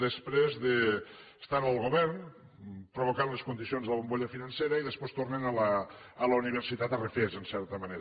després d’estar en el govern provocant les condicions de la bombolla financera i després tornen a la universitat a refer se en certa manera